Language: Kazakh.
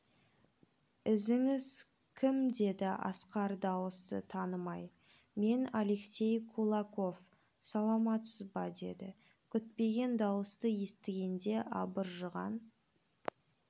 ізіңіз кім деді асқар дауысты танымай мен алексей кулаков саламатсыз ба деді күтпеген дауысты естігенде абыржыған